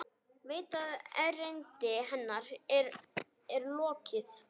Veit að erindi hennar hér er lokið.